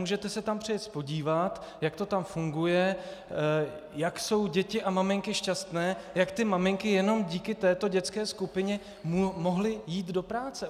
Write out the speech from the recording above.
Můžete se tam přijet podívat, jak to tam funguje, jak jsou děti a maminky šťastné, jak ty maminky jenom díky této dětské skupině mohly jít do práce.